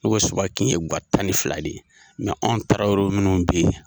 N'u ka Suba kin ye guwa tan ni fila de ye anw tarawelew munnu be yen.